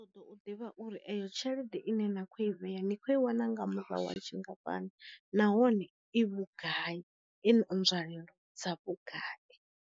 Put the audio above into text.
Ṱo ḓo u ḓivha u ri eyo tshelede ine na kho i vhea ni kho i wana nga murahu wa tshi nga fhani nahone i vhugai, i na nzwalelo dza vhugai.